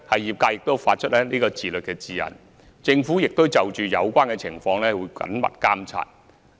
業界亦發出自律的指引，而政府會緊密監察有關情況。